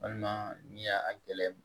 Walima ni y'a a gɛlɛ